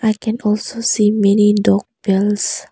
I can also see many dog belts.